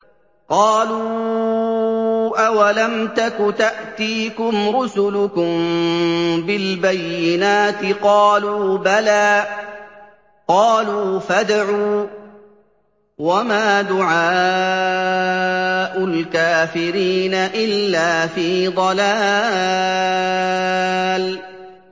قَالُوا أَوَلَمْ تَكُ تَأْتِيكُمْ رُسُلُكُم بِالْبَيِّنَاتِ ۖ قَالُوا بَلَىٰ ۚ قَالُوا فَادْعُوا ۗ وَمَا دُعَاءُ الْكَافِرِينَ إِلَّا فِي ضَلَالٍ